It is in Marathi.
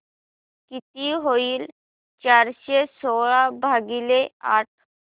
किती होईल चारशे सोळा भागीले आठ